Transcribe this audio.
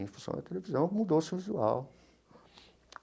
em função da televisão, mudou-se o visual.